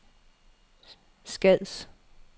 Skads